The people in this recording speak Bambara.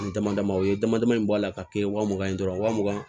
Ani damadama u ye dama dama in bɔ a la k'a kɛ wa mugan ye dɔrɔn waa mugan